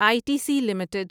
I T C limited